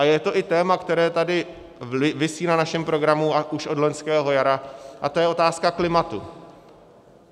A je to i téma, které tady visí na našem programu už od loňského jara, a to je otázka klimatu.